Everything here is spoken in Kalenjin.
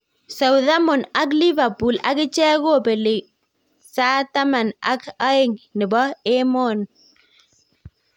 Southmton ak Liverpool akichek kopeling' sa taman ak aen nepo emoon